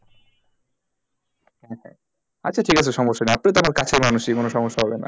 আচ্ছা ঠিক আছে সমস্যা নেই আপনি তো আমার কাছের মানুষই কোনো সমস্যা হবে না